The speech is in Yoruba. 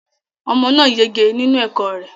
Omo náà yege nínú ẹ̀kọ́ rẹ